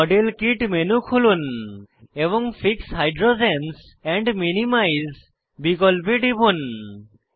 model kit menu খুলুন এবং fix hydrogens and minimise বিকল্পে টিপুন